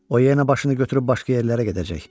O yenə başını götürüb başqa yerlərə gedəcək.